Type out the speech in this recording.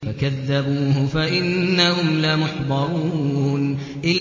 فَكَذَّبُوهُ فَإِنَّهُمْ لَمُحْضَرُونَ